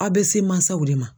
A be se masaw de ma.